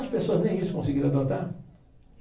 As pessoas nem isso conseguiram adotar.